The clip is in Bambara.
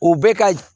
U bɛ ka